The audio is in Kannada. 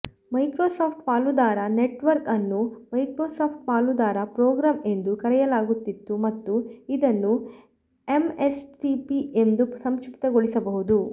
ಮೈಕ್ರೋಸಾಫ್ಟ್ ಪಾಲುದಾರ ನೆಟ್ವರ್ಕ್ ಅನ್ನು ಮೈಕ್ರೋಸಾಫ್ಟ್ ಪಾಲುದಾರ ಪ್ರೋಗ್ರಾಂ ಎಂದು ಕರೆಯಲಾಗುತ್ತಿತ್ತು ಮತ್ತು ಇದನ್ನು ಎಂಎಸ್ಪಿಪಿ ಎಂದು ಸಂಕ್ಷಿಪ್ತಗೊಳಿಸಬಹುದು